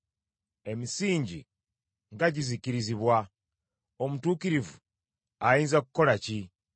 Emisingi nga gizikirizibwa, omutuukirivu ayinza kukola ki?”